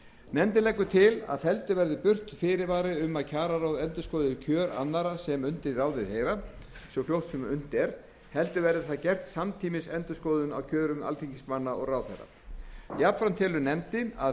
nefndin leggur til að felldur verði burt fyrirvari um að kjararáð endurskoði kjör annarra sem undir ráðið heyra svo fljótt sem unnt er og verði það gert samtímis endurskoðun á kjörum alþingismanna og ráðherra jafnframt telur nefndin að